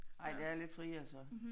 Ej det er lidt friere så